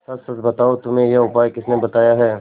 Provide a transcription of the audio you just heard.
सच सच बताओ तुम्हें यह उपाय किसने बताया है